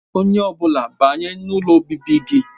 Onye ọ bụla banye n'ụlọ obibi gị